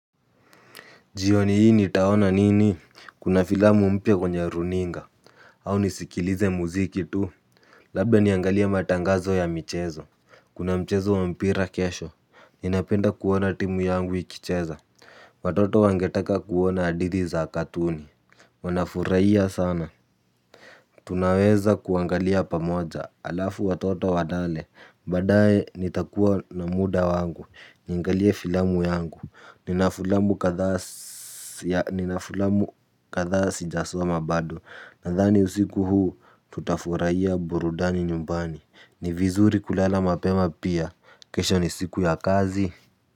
Jioni hii nitaona nini kuna filamu mpya kwenye runinga. Au nisikilize muziki tu. Labda niangalie matangazo ya michezo. Kuna mchezo wa mpira kesho. Ninapenda kuona timu yangu ikicheza. Watoto wangetaka kuona hadithi za katuni. Wanafurahia sana. Tunaweza kuangalia pamoja halafu watoto walale. Baadae nitakuwa na muda wangu. Niangalie filamu yangu. Nina fulamu kadhaa nina filamu kadhaa sijasoma bado. Nadhani usiku huu tutafurahia burudani nyumbani. Ni vizuri kulala mapema pia. Kesho ni siku ya kazi.